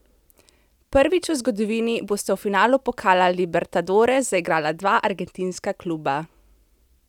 Prvič v zgodovini bosta v finalu pokala Libertadores zaigrala dva argentinska kluba.